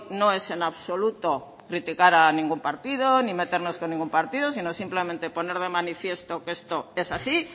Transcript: no es en absoluto criticar a ningún partido ni meternos con ningún partido sino simplemente poner de manifiesto que esto es así